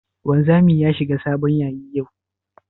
Wanzami ya shiga sabon yayi ne?